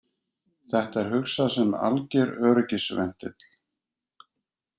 Þetta er hugsað sem alger öryggisventill